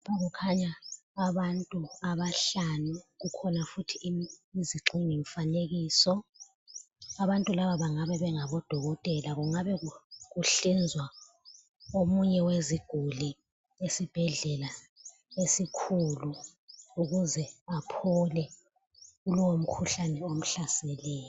Kukhanya abantu abahlanu kukhona futhi Isigxingi mfanekiso. Abantu laba bangabe bengabodokotela kungabe kuhlinzwa omunye weziguli esibhedlela esikhulu ukuze aphole kulowo mkhuhlane omhlaseleyo.